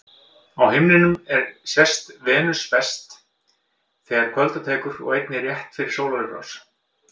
Á himninum er sést Venus best þegar kvölda tekur og einnig rétt fyrir sólarupprás.